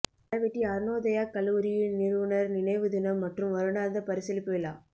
அளவெட்டி அருணோதயாக் கல்லூரியின் நிறுவுனர் நினைவு தினம் மற்றும் வருடாந்த பரிசளிப்பு விழா